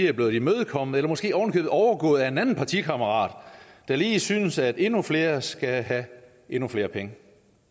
er blevet imødekommet eller måske ovenikøbet overgået af en anden partikammerat der lige synes at endnu flere skal have endnu flere penge